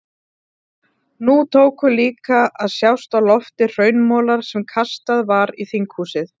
Nú tóku líka að sjást á lofti hraunmolar sem kastað var í þinghúsið.